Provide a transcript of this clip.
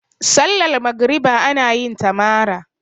sallar magriba ana yinta mara